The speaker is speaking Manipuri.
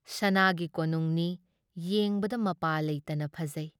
ꯁꯅꯥꯒꯤ ꯀꯣꯅꯨꯡꯅꯤ, ꯌꯦꯡꯕꯗ ꯃꯄꯥ ꯂꯩꯇꯅ ꯐꯖꯩ ꯫